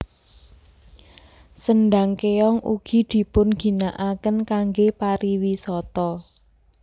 Sendhang Kéong ugi dipun ginakaken kangge pariwisata